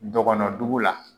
Dɔgɔnɔ dugu la